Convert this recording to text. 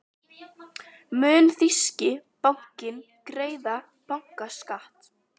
Mun þýski bankinn greiða bankaskatt?